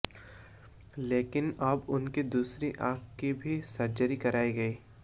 लेकिन अब उनकी दूसरी आंख की भी सर्जरी कराई गई है